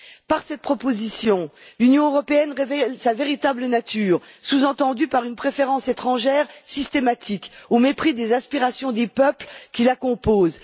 Par cette proposition, l'Union européenne révèle sa véritable nature sous entendue par une préférence étrangère systématique au mépris des aspirations des peuples qui la composent.